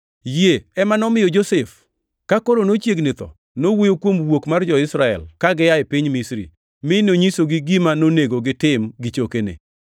Yie ema nomiyo Josef, ka koro nochiegni tho, nowuoyo kuom wuok mar jo-Israel ka gia piny Misri, mi nonyisogi gima nonego otim gi chokene.